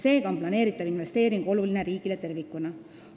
Seega on planeeritav investeering oluline riigile tervikuna.